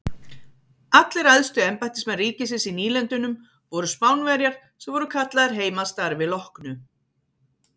Allir æðstu embættismenn ríkisins í nýlendunum voru Spánverjar sem voru kallaðir heim að starfi loknu.